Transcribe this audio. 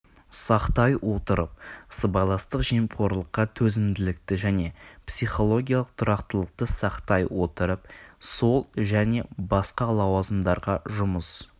сақтай отырып сыбайластық жемқорлыққа төзімділікті және психологиялық тұрақтылықты сақтай отырып сол және басқа лауазымдарға жұмыс